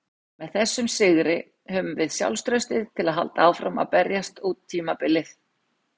Með þessum sigri höfum við sjálfstraustið til að halda áfram að berjast út tímabilið.